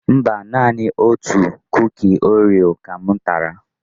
Mba, naanị otu Kuki Oreo ka m tara.